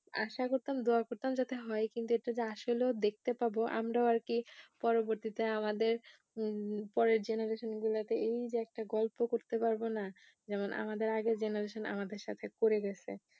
আশা করতাম দুয়া করতাম যাতে হয়ে কিন্তু এটা যে আসলেও দেখতে পাবো আমরাও আর কি পরবর্তীতে আমাদের পরের generation গুলোতে এই যে একটা গল্প করতে পারবো না যেমন আমাদের আগের generation আমাদের সাথে করে গেছে